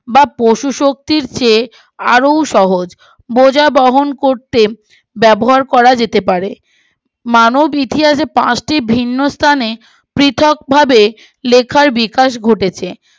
বা পশু শক্তির চেয়ে আরো সহজ বোঝা বহন করতে ব্যবহার করা যেতে পারে মানব ইতিহাসে পাঁচটি ভিন্ন স্থানে পৃথক ভাবে লেখার বিকাশ ঘটেছে